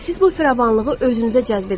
Və siz bu firavanlığı özünüzə cəzb edəcəksiniz.